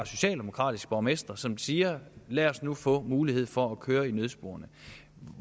socialdemokratiske borgmestre som siger lad os nu få mulighed for at køre i nødsporet